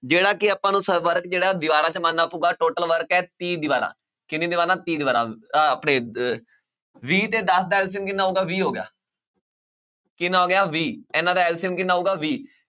ਜਿਹੜਾ ਕਿ ਆਪਾਂ ਨੂੰ ਸ~ work ਜਿਹੜਾ ਹੈ ਦੀਵਾਰਾਂ 'ਚ ਮੰਨਣਾ ਪਊਗਾ total work ਹੈ ਤੀਹ ਦੀਵਾਰਾਂ ਕਿੰਨੀ ਦੀਵਾਰਾਂ ਤੀਹ ਦੀਵਾਰਾਂ ਆਹ ਆਪਣੇ ਅਹ ਵੀਹ ਤੇ ਦਸ ਦਾ LCM ਕਿੰਨਾ ਹੋਊਗਾ ਵੀਹ ਹੋ ਗਿਆ ਕਿੰਨਾ ਹੋ ਗਿਆ ਵੀਹ ਇਹਨਾਂ ਦਾ LCM ਕਿੰਨਾ ਆਊਗਾ ਵੀਹ